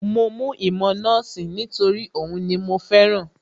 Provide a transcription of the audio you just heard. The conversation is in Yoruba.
Mo mú ìmọ̀ nọ́ọ̀sì nítorí òhun ni mo fẹ́ràn